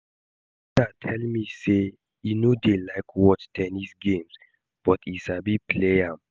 I no know for you oo but I like basketball pass table ten nis